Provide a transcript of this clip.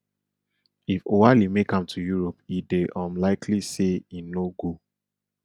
if oualy make am to europe e dey um likely say e no go